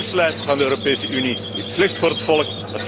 Het keurslijf van de Europese Unie is slecht voor het volk.